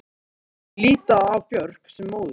Þeir líta á Björk sem móður sína.